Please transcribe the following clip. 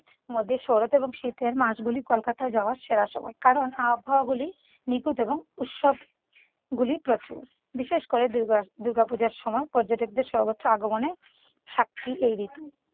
মধ্যে শরৎ ও শীতের মাসগুলি কলকাতায় যাওয়ার সেরা সময়। কারণ আবহাওয়াবলী নিখুঁত এবং উৎসবগুলি প্রচুর। বিশেষ করে দুর্গা দুর্গা পুজার সময় পর্যটকদের সর্বোচ্চ আগমনের সাক্ষী এই ঋতু।